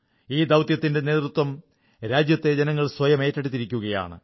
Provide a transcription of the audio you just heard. ഈ ദൌത്യത്തിന്റെ നേതൃത്വം രാജ്യത്തെ ജനങ്ങൾ സ്വയം ഏറ്റെടുത്തിരിക്കുകയാണ്